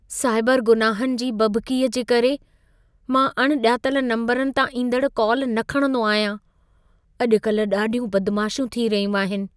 Cyber गुनाहनि जी बभिकीअ जे करे मां अण ॼातल नम्बरनि तां ईंदड़ कॉल न खणंदो आहियां। अॼु कल्ह ॾाढियूं बदमाशियूं थी रहियूं आहिनि।